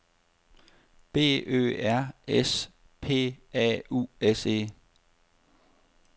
B Ø R S P A U S E